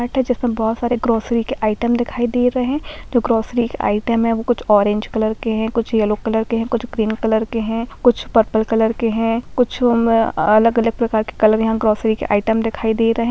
Mart है जिसमें बहुत सारे ग्रोसरी के आइटम दिखाई दे रहें हैं जो ग्रोसरी के आइटम हैं वो कुछ ऑरेंज कलर के हैं कुछ येलो कलर के हैं कुछ ग्रीन कलर के हैं कुछ पर्पल कलर के हैं कुछ उम्म्म अलग-अलग प्रकार के कलर यहाँ ग्रोसरी के आइटम दिखाई दे रहें हैं।